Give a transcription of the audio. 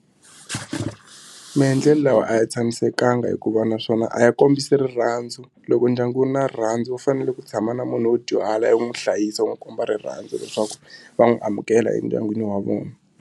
Maendlelo lawa a ya tshamisekanga hikuva naswona a ya kombisa rirhandzu loko ndyangu wu ri na rirhandzu wu fanele ku tshama na munhu wo dyuhala yi n'wi hlayisa u n'wi komba rirhandzu leswaku va n'wi amukela endyangwini wa vona.